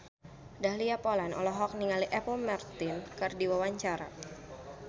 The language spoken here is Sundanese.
Dahlia Poland olohok ningali Apple Martin keur diwawancara